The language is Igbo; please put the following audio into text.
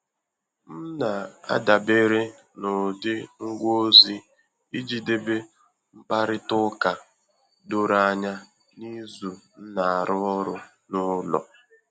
M na-adàbére n’ụ́dị ngwa ozi iji dèbé mkpàrịtà ụ́ka dòrò ànyà n’ízu nna arụ ọrụ n'ụlọ